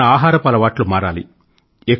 మన ఆహారపు అలవాట్లు మారాలి